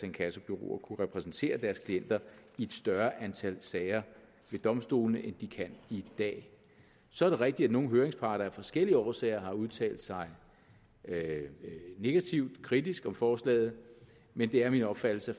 inkassobureauer kunne repræsentere deres klienter i et større antal sager ved domstolene end de kan i dag så er det rigtigt at nogle høringsparter af forskellige årsager har udtalt sig negativt kritisk om forslaget men det er min opfattelse